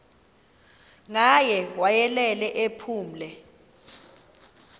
ngaye wayelele ephumle